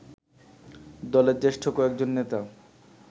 দলের জ্যেষ্ঠ কয়েকজন নেতা